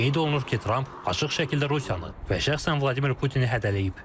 Qeyd olunur ki, Tramp açıq şəkildə Rusiyanı və şəxsən Vladimir Putini hədələyib.